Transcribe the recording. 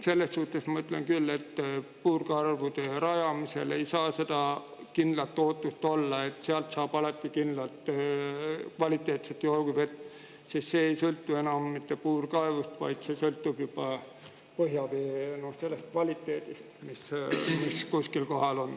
Selles suhtes ma ütlen küll, et puurkaevude rajamisel ei saa seda kindlat ootust olla, et sealt saab alati kvaliteetset joogivett, sest see ei sõltu enam mitte puurkaevust, vaid see sõltub juba põhjavee kvaliteedist, mis kuskil on.